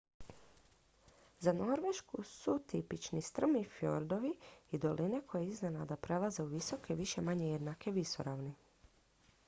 za norvešku su tipični strmi fjordovi i doline koje iznenada prelaze u visoke više-manje jednake visoravni